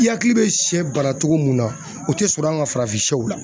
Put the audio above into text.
I hakili bɛ shɛ bana cogo mun na o tɛ sɔrɔ an ka farafin shɛw la.